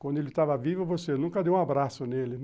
Quando ele estava vivo, você nunca deu um abraço nele, né?